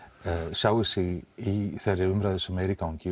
sjái sig í þeirri umræðu sem er í gangi